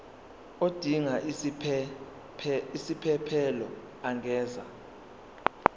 odinga isiphesphelo angenza